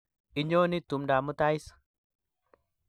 Inyoni tumdap mutai is?